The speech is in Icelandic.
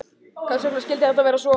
Hvers vegna skyldi þetta vera svo?